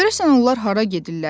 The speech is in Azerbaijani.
Görəsən onlar hara gedirlər?